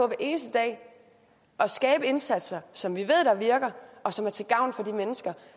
eneste dag at skabe indsatser som vi ved virker og som er til gavn for de mennesker